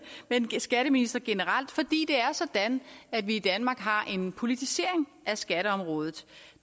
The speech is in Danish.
men skatteministre generelt fordi det er sådan at vi i danmark har en politisering af skatteområdet